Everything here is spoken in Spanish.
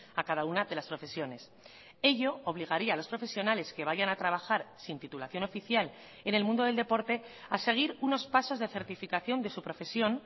a cada una de las profesiones ello obligaría a los profesionales que vayan a trabajar sin titulación oficial en el mundo del deporte a seguir unos pasos de certificación de su profesión